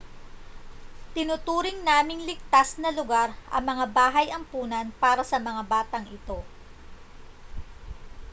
tinuturing naming ligtas na lugar ang mga bahay ampunan para sa mga batang ito